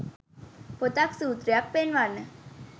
පොතක් සුත්‍රයක් පෙන්වන්න .